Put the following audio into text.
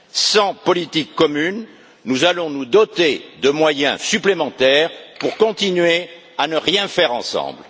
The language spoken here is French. Sans politique commune, nous allons nous doter de moyens supplémentaires pour continuer à ne rien faire ensemble.